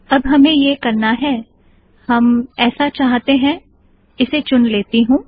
अब हमे यह करना है हम ऐसा चाहते है - इसे चुन लेती हूँ